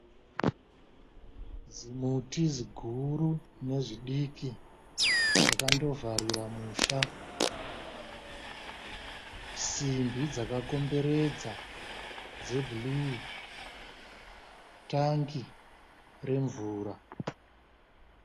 Zimuti ziguru nezvidiki, zvakandovharira musha. Simbi dzakakomberedzwa dzebhuruwu. Tangi remvura.